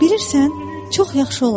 Bilirsən, çox yaxşı olacaq.